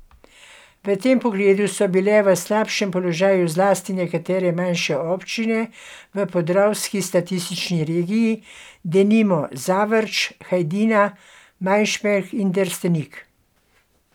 V tem pogledu so bile v slabem položaju zlasti nekatere manjše občine v podravski statistični regiji, denimo Zavrč, Hajdina, Majšperk in Destrnik.